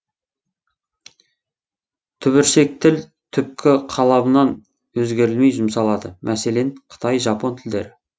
түбіршек тіл түпкі қалабынан өзгерілмей жұмсалады мәселен қытай жапон тілдері